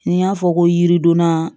N'i y'a fɔ ko yiridonna